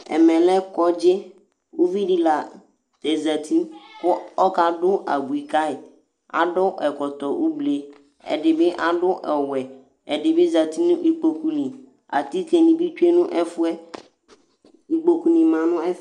Ɛmɛlɛ lɛ kɔdzi Ʋviɖi la zɛti kʋ ɔka ɖu abʋi kayi Aɖu ɛkɔtɔ ʋgli Ɛdí bi aɖu ɔwɛ Ɛɖì bi zɛti ŋu ikpoku li Atike ni bi tsʋe ŋu ɛfʋɛ Ikpoku ni ma ŋu ɛfɛ